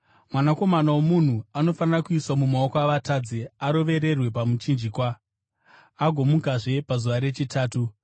‘Mwanakomana woMunhu anofanira kuiswa mumaoko avatadzi, arovererwe pamuchinjikwa agomukazve pazuva rechitatu.’ ”